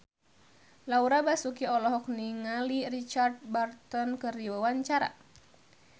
Laura Basuki olohok ningali Richard Burton keur diwawancara